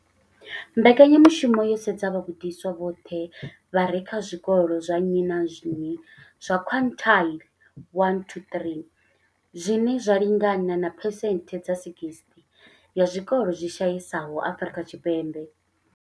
Mbekanya mushumo yo sedza vhagudiswa vhoṱhe vha re kha zwikolo zwa nnyi na nnyi zwa quintile 1-3, zwine zwa lingana na phesenthe dza 60 ya zwikolo zwi shayesaho Afrika Tshipembe.